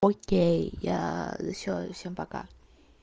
окей я всё всем пока